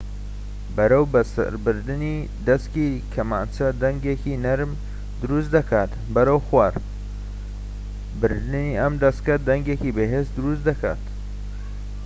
بەرەوسەربردنی دەسکی کەمانچە دەنگێکی نەرم دروست دەکات بەرەوخوار بردنی ئەم دەسکە دەنگێکی بەهێز دروست دەکات